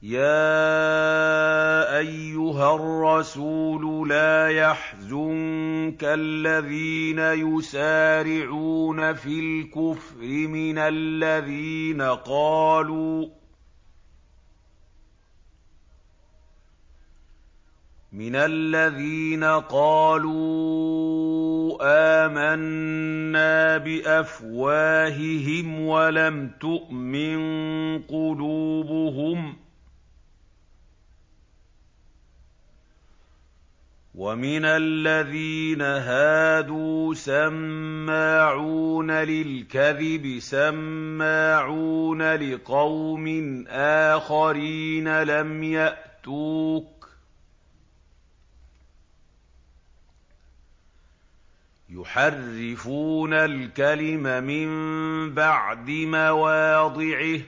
۞ يَا أَيُّهَا الرَّسُولُ لَا يَحْزُنكَ الَّذِينَ يُسَارِعُونَ فِي الْكُفْرِ مِنَ الَّذِينَ قَالُوا آمَنَّا بِأَفْوَاهِهِمْ وَلَمْ تُؤْمِن قُلُوبُهُمْ ۛ وَمِنَ الَّذِينَ هَادُوا ۛ سَمَّاعُونَ لِلْكَذِبِ سَمَّاعُونَ لِقَوْمٍ آخَرِينَ لَمْ يَأْتُوكَ ۖ يُحَرِّفُونَ الْكَلِمَ مِن بَعْدِ مَوَاضِعِهِ ۖ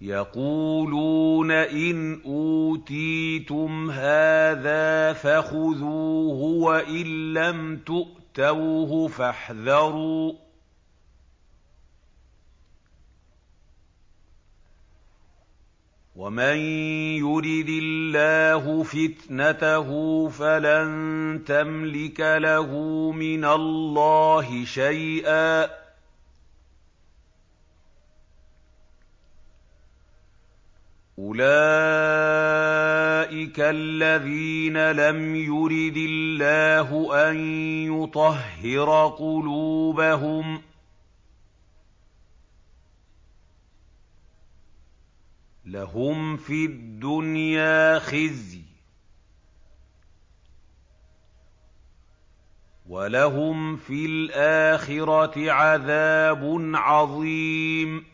يَقُولُونَ إِنْ أُوتِيتُمْ هَٰذَا فَخُذُوهُ وَإِن لَّمْ تُؤْتَوْهُ فَاحْذَرُوا ۚ وَمَن يُرِدِ اللَّهُ فِتْنَتَهُ فَلَن تَمْلِكَ لَهُ مِنَ اللَّهِ شَيْئًا ۚ أُولَٰئِكَ الَّذِينَ لَمْ يُرِدِ اللَّهُ أَن يُطَهِّرَ قُلُوبَهُمْ ۚ لَهُمْ فِي الدُّنْيَا خِزْيٌ ۖ وَلَهُمْ فِي الْآخِرَةِ عَذَابٌ عَظِيمٌ